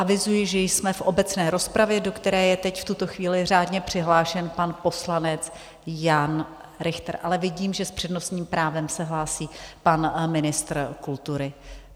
Avizuji, že jsme v obecné rozpravě, do které je teď v tuto chvíli řádně přihlášen pan poslanec Jan Richter, ale vidím, že s přednostním právem se hlásí pan ministr kultury.